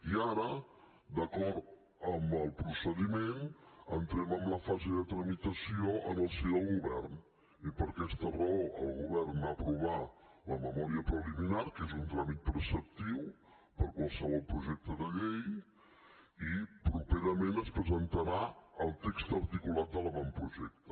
i ara d’acord amb el procediment entrem en la fase de tramitació en el si del govern i per aquesta raó el govern va aprovar la memòria preliminar que és un tràmit preceptiu per a qualsevol projecte de llei i properament es presentarà el text articulat de l’avantprojecte